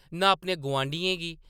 नां अपने गुआंढियें गी ।